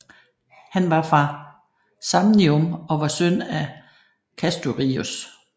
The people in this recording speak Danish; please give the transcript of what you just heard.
Han var fra Samnium og var søn af Castorius